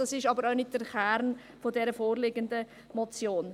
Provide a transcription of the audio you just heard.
Diese sind aber auch nicht der Kern der vorliegenden Motion.